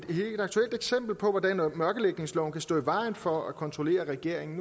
aktuelt eksempel på hvordan mørkelægningsloven kan stå i vejen for at kontrollere regeringen